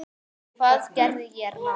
Hvað gerði ég rangt?